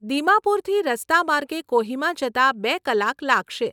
દિમાપુરથી રસ્તા માર્ગે કોહિમા જતાં બે કલાક લાગશે.